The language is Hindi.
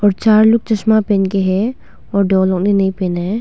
और चार लोग चश्मा पहन के है और दो लोग ने नहीं पहना है।